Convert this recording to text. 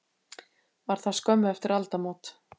Var það skömmu eftir aldamót.